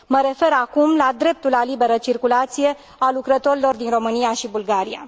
Mă refer acum la dreptul la liberă circulație al lucrătorilor din România și Bulgaria.